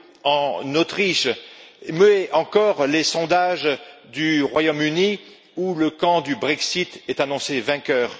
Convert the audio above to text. FPÖ en Autriche ou encore les sondages du Royaume Uni, où le camp du Brexit est annoncé vainqueur.